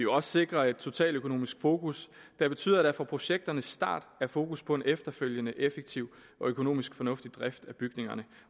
også sikre et totaløkonomisk fokus der betyder at der fra projekternes start er fokus på en efterfølgende effektiv og økonomisk fornuftig drift af bygningerne